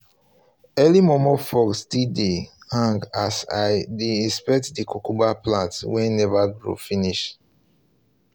early momo fogs still dey still dey hang as i dey inspect the cucumber plants wey never grow finish